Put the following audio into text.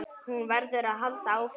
Hún verður að halda áfram.